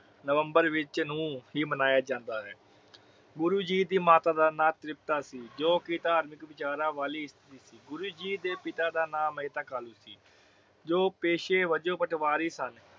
November ਵਿਚ ਨੂੰ ਹੀ ਮਨਾਇਆ ਜਾਂਦਾ ਹੈ। ਗੁਰੂ ਜੀ ਦੀ ਮਾਤਾ ਦਾ ਨਾਮ ਤਰਿਪਤਾ ਸੀ। ਜੋ ਕਿ ਧਾਰਮਿਕ ਵਿਚਾਰਾਂ ਵਾਲੀ ਇਸਤਰੀ ਸੀ। ਗੁਰੂ ਜੀ ਦੇ ਪਿਤਾ ਦਾ ਨਾਮ ਮਹਿਤਾ ਕਾਲੂ ਸੀ ਜੋ ਪੈਛੇ ਵਜੋਂ ਬਟਵਾਰੀ ਸਨ।